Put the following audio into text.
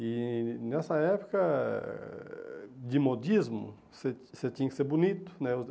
E nessa época, eh de modismo, você você tinha que ser bonito, né?